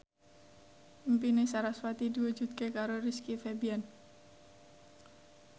impine sarasvati diwujudke karo Rizky Febian